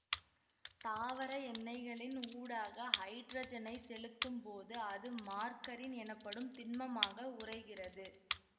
தாவர எண்ணெய்களின் ஊடாக ஹைட்ரஜனைச் செலுத்தும் போது அது மார்கரின் எனப்படும் திண்மமாக உறைகிறது